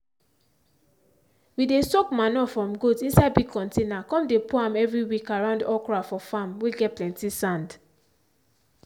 we dey soak mature from goat inside big container come dey pour am every week around okra for farm whey get plenty sand.